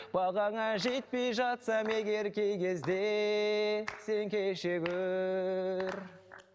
бағаңа жетпей жатсам егер кей кезде сен кеше гөр